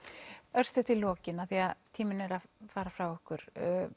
örstutt í lokin af því að tíminn er að fara frá okkur